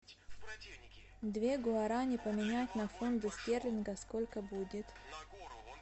две гуарани поменять на фунты стерлингов сколько будет